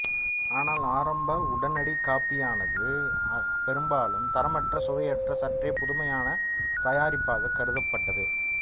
ஆனால் ஆரம்ப உடனடி காபியானது பெரும்பாலும் தரமற்ற சுவையற்ற சற்றே புதுமையான தயாரிப்பாகக் கருதப்பட்டது